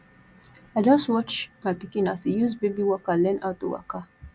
i just watch my pikin as e use baby walker learn how to waka